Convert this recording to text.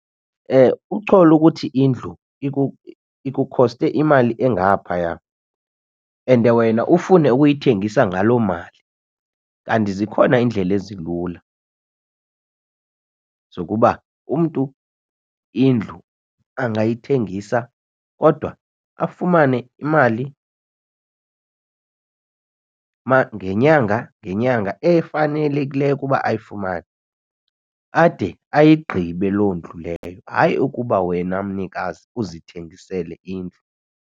Uchole ukuthi indlu ikukhoste imali engaphaya and wena ufune ukuyithengisa ngaloo mali kanti zikhona iindlela ezilula zokuba umntu indlu angayithengisa kodwa afumane imali ngenyanga ngenyanga efanelekileyo ukuba ayifumane ade ayigqibe loo ndlu leyo. Hayi, ukuba wena mnikazi uzithengisele indlu.